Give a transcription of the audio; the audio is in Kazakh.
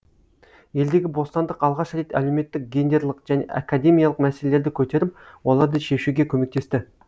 елдегі бостандық алғаш рет әлеуметтік гендерлық және академиялық мәселелерді көтеріп оларды шешуге көмектесті